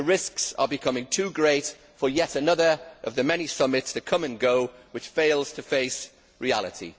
The risks are becoming too great for yet another of the many summits that come and go, and which fail to face reality.